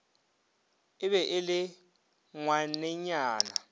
e be e le ngwanenyana